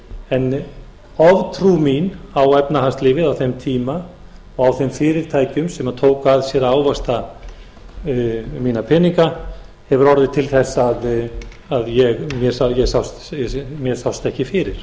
en oftrú mín á því efnahagslífi á þeim tíma og á þeim fyrirtækjum sem tóku að sér að ávaxta mína peninga hefur orðið til þess að mér sást ekki fyrir ég hefði getað gert mér grein fyrir